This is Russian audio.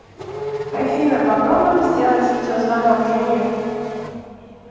афина попробуем сделать видеозвонок жене